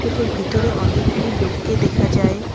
এটির ভিতরে অনেকগুলি লোককে দেখা যায়।